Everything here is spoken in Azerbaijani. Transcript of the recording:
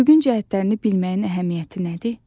Üfüqün cəhətlərini bilməyin əhəmiyyəti nədir?